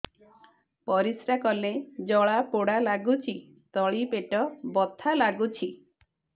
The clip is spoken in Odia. ପରିଶ୍ରା କଲେ ଜଳା ପୋଡା ଲାଗୁଚି ତଳି ପେଟ ବଥା ଲାଗୁଛି